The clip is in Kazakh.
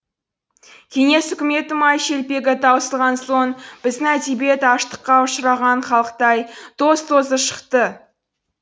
кеңес үкіметі май шелпегі таусылған соң біздің әдебиет аштыққа ұшыраған халықтай тоз тозы шықты